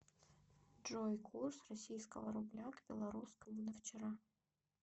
джой курс российского рубля к белорусскому на вчера